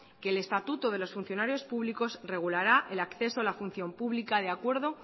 que el estatuto de los funcionarios públicos regulará el acceso a la función pública de acuerdo